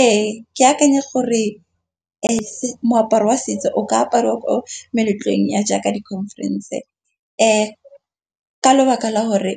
Ee, ke akanya gore as-e moaparo wa setso o ka aparwa ko meletlong ya jaaka dikhonferense. Ka lebaka la gore